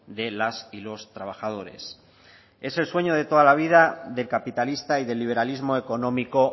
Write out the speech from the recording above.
de las y los trabajadores es el sueño de toda la vida del capitalista y del liberalismo económico